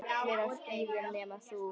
Allir á skíðum nema þú.